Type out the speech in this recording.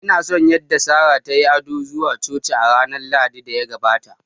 Ina son yadda Sarah ta yi ado zuwa Coci a ranar Lahadin da ya gabata